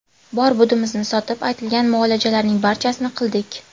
Bor-budimizni sotib, aytilgan muolajalarning barchasini qildik.